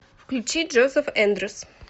включи джозеф эндрюс